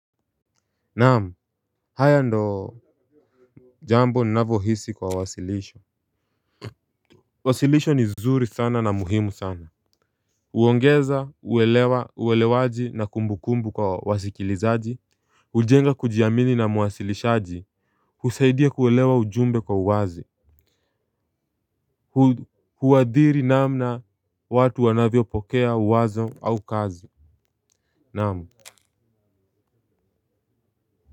Naam hayo ndo jambo ninavyo hisi kwa wasilisho. Wasilisho ni zuri sana na muhimu sana huongeza uwelewa uwelewaji na kumbu kumbu kwa wasikilizaji hujenga kujiamini na mwasilishaji husaidia kuelewa ujumbe kwa uwazi. Huadhiri namna watu wanavyopokea uwazo au kazi. Naam.